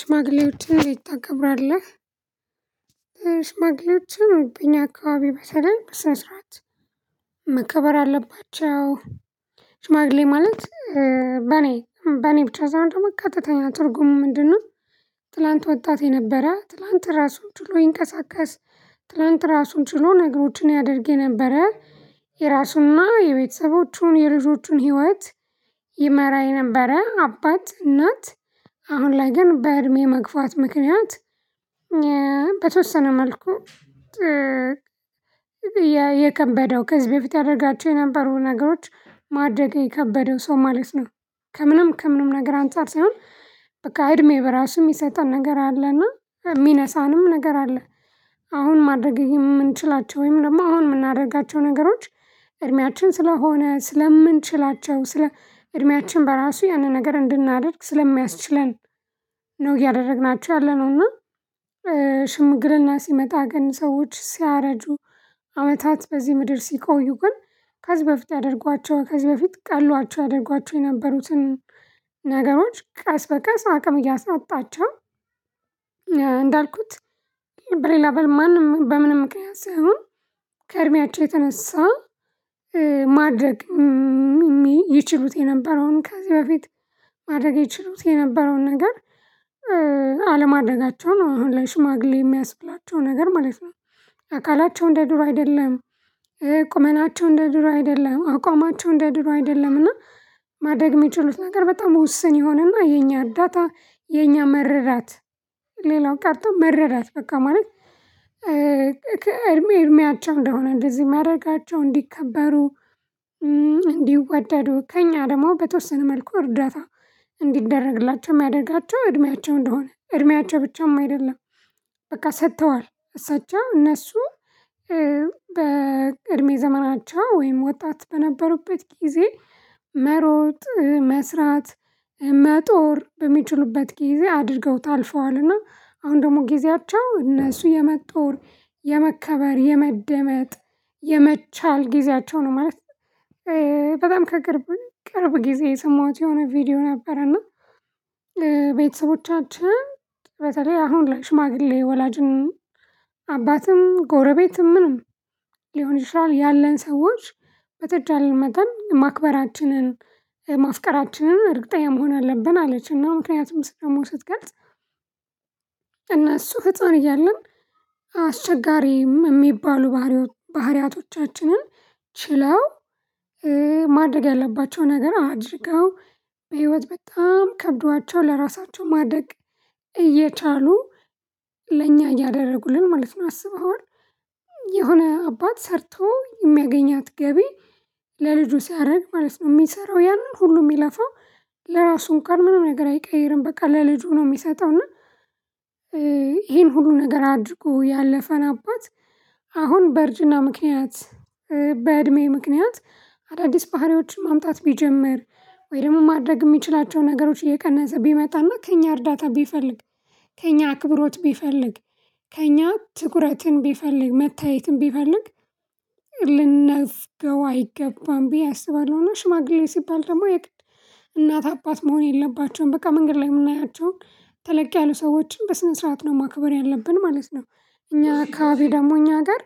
ሽማግሌዎችን እንዴት ታከብራለህ? ሽማግሌዎችን እኛ አካባቢ በተለይ በስነስርዓት መከበር አለባቸው ሽማግሌ ማለት በኔ በኔ ብቻ ሳይሆን ደግሞ ቀጥተኛ ትርጉሙ ምንድነው ትላንት ወጣ የነበረ ትላንት ራሱን ችሎ ይንቀሳቀስ ትላንት ራሱን ችሎ ነገሮችን ያደርግ የነበረ የራሱና የቤተሰቦቹን የልጆቹን ህይወት ይመራ የነበረ አባት እናት አሁን ላይ ግን በእድሜ መግፋት ምክንያት በተወሰነ መልኩ የከበደው ከዚህ በፊት ያደረጋቸው የነበሩ ነገሮች ማድረግ የከበደው ሰው ማለት ነው። ከምንም ከምንም ነገር አንፃር ሳይሆን በቃ እድሜ በራሱ የሚሰጠን ነገር አለና የሚነሳንም ነገር አለ። አሁን ማድረግ የምንችላቸው ወይም ደግሞ አሁን የምናደርጋቸው ነገሮች እድሜያችን ስለሆነ ስለምንችላቸው ስለ እድሜያችን በራሱ ያንን ነገር እንድናደርግ ስለሚያስችለን ነው እያደረግናችሁ ያለነው እና ሽምግልና ሲመጣ ግን ሰዎች ሲያረጁ አመታት በዚህ ምድር ሲቆዩ ግን ከዚህ በፊት ያደርጓቸው ከዚህ በፊት ቀሏቸው ያደርጓቸው የነበሩትን ነገሮች ቀስ በቀስ አቅም እያሳጣቸው። እንዳልኩት ብሬላ በል ማንም በምንም ምክንያት ሳይሆን ከእድሜያቸው የተነሳ ማድረግ የሚችሉት የነበረውን ከዚህ በፊት ማድረግ የችሉት የነበረውን ነገር አለማደጋቸው ነው አሁን ለሽማግሌ የሚያስብላቸው ነገር ማለት ነው። አካላቸው እንደ ዱር አይደለም፤ ቁመናቸው እንደ ድሮ አይደለም፤ አቋማቸው እንደ ድሮ አይደለም፤ እና ማድረግ የሚችሉት ነገር በጣም ዉስን ይሆንና የኛ አዳታ የኛ መረዳት ሌላው ቀርቶ መረዳት በቃ ማለት እድሜ እድሜያቸው እንደሆነ እንደዚህ ማድረጋቸው እንዲከበሩ እንዲወደዱ ከእኛ ደግሞ በተወሰነ መልኩ እርዳታ እንዲደረግላቸው የሚያደርጋቸው እድሜያቸው እንደሆነ እድሜያቸው ብቻም አይደለም በቃ ሰጥተዋል እሳቸው እነሱ በእድሜ ዘመናቸው ወይም ወጣት በነበሩበት ጊዜ መሮጥ መስራት መጦር በሚችሉበት ጊዜ አድርገውታል አልፈዋልና አሁን ደግሞ ጊዜያቸው እነሱ የመጦር የመከበር የመደመጥ የመቻል ጊዜያቸው ነው ማለት ነው በጣም ከቅርብ ቅርብ ጊዜ የሰማኋት የሆነ ቪዲዮ ነበረና ቤተሰቦቻችን በተለይ አሁን ለሽማግሌ ወላጅን አባትም ጎረቤትም ምንም ሊሆን ይችላል ያለን ሰዎች በተቻለን መጠን ማክበራችንን ማፍቀራችንን እርግጠኛ መሆን አለብን አለችና ምክንያቱም ስለመውደድ ስትገልጽ እነሱ ህፃን እያለን አስቸጋሪም የሚባሉ ባህሪያቶቻችንን ችለው ማድረግ ያለባቸው ነገር አድርገው በህይወት በጣም ከብዷቸው ለራሳቸው ማደግ እየቻሉ ለእኛ እያደረጉልን ማለት ነው አስበውን የሆነ አባት ሰርተው የሚያገኛት ገቢ ለልጁ ሲያደርግ ማለት ነው የሚሰራው ያንን ሁሉ የሚለፋው ለራሱ እንኳን ምንም ነገር አይቀይርም በቃ ለልጁ ነው የሚሰጠው እና ይሄን ሁሉ ነገር አድርጎ ያለፈን አባት አሁን በእርጅና ምክንያት በእድሜ ምክንያት አዳዲስ ባህሪዎችን ማምጣት ቢጀምር ወይም ማድረግ የሚችላቸው ነገሮች እየቀነሰ ቢመጣና ከእኛ እርዳታ ቢፈልግ ከእኛ አክብሮት ቢፈልግ ከእኛ ትኩረትን ቢፈልግ መታየትን ቢፈልግ ልንነፍግረው አይገባም ብዬ አስባለሁ እና ሽማግሌ ሲባል ደግሞ የእናት አባት መሆን የለባቸውም በቃ መንገድ ላይ የምናያቸውን ተለቅ ያሉ ሰዎችን በስነ ስርዓት ነው ማክበር ያለብን ማለት ነው እኛ ከአካባቢ ደግሞ እኛ ጋር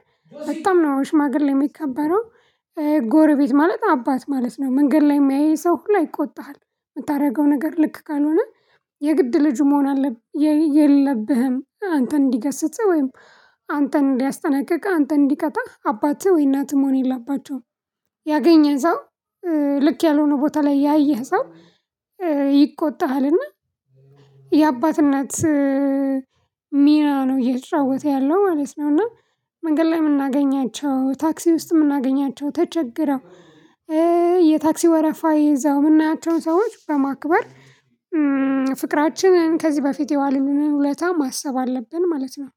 በጣም ነው ሽማግሌ የሚከበረው። ጎረቤት ማለት አባት ማለት ነው መንገድ ላይ የምያየን ሰው ሁላ ይቆጣሃል የምታደርገው ነገር ልክ ካልሆነ የግድ ልጁ መሆን የለብህም አንተን እንዲገስጽህ ወይም አንተን ሊያስጠናቅቅህ አንተን እንዲቀጣህ አባትህ ወይ እናትህ መሆን የላባቸውም ያገኘህ ሰው ልክ ያልሆነ ቦታ ላይ ያየህ ሰው ይቆጣሃልና የአባት እናት ሚና ነው እየጫወተ ያለው ማለት ነው። እና መንገድ ላይ የምናገኛቸው ታክሲ ውስጥ የምናገኛቸው ተቸግረው የታክሲ ወረፋ ይዘው የምናያቸውን ሰዎች በማክበር ፍቅራችንን ከዚህ በፊት የዋሉልንን ውለታ ማሰብ አለብን ማለት ነው።